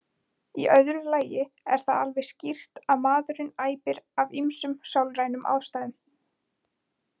Í öðru lagi er það alveg skýrt að maðurinn æpir af ýmsum sálrænum ástæðum.